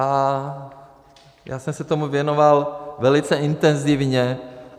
A já jsem se tomu věnoval velice intenzivně.